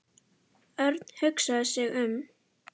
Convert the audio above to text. Örn hugsaði sig um.